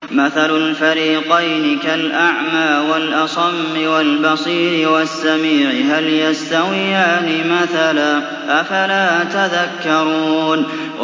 ۞ مَثَلُ الْفَرِيقَيْنِ كَالْأَعْمَىٰ وَالْأَصَمِّ وَالْبَصِيرِ وَالسَّمِيعِ ۚ هَلْ يَسْتَوِيَانِ مَثَلًا ۚ أَفَلَا تَذَكَّرُونَ